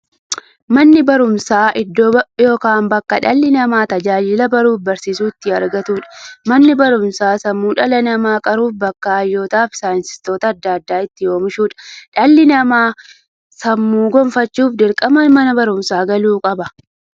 Manni baruumsaa iddoo yookiin bakkee dhalli namaa tajaajila baruufi barsiisuu itti argatuudha. Manni baruumsaa sammuu dhala namaa qaruufi bakka hayyootafi saayintistoota adda addaa itti oomishuudha. Dhalli namaa sammuun gufachuuf, dirqama Mana baruumsaa galuu qaba.